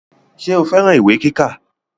Ṣé o fẹ́ran ìwé kíkà